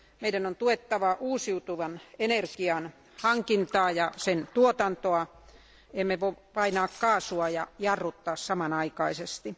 Meidän on tuettava uusiutuvan energian hankintaa ja sen tuotantoa, emme voi painaa kaasua ja jarruttaa samanaikaisesti.